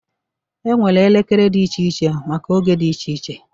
E nwere ekele dị iche iche maka oge dị iche iche